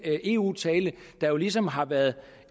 eu tale der jo ligesom har været